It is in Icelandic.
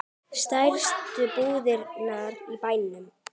Stærstu brúðuna í bænum.